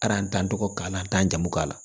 tɔgɔ k'a la an t'an jamu k'a la